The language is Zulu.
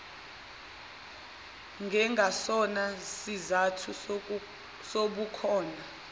njengasona sizathu sobukhona